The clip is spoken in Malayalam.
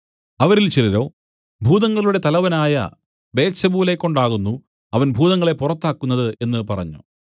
അവരിൽ ചിലരോ ഭൂതങ്ങളുടെ തലവനായ ബെയെത്സെബൂലെക്കൊണ്ടാകുന്നു അവൻ ഭൂതങ്ങളെ പുറത്താക്കുന്നത് എന്നു പറഞ്ഞു